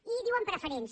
i en diuen preferents